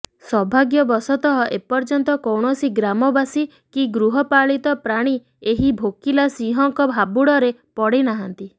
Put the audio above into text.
ସୌଭାଗ୍ୟ ବଶତଃ ଏପର୍ଯ୍ୟନ୍ତ କୌଣସି ଗ୍ରାମବାସୀ କି ଗୃହପାଳିତ ପ୍ରାଣୀ ଏହି ଭୋକିଲା ସିଂହଙ୍କ ହାବୁଡରେ ପଡିନାହାଁନ୍ତି